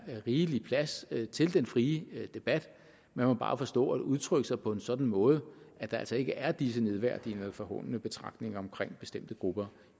rigelig plads til den frie debat man må bare forstå at udtrykke sig på en sådan måde at der altså ikke er disse nedværdigende eller forhånende betragtninger om bestemte grupper